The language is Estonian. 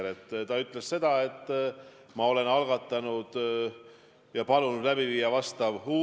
Nüüd, te ütlete, et te ei ole öelnud, nagu oleks see riigireetmine.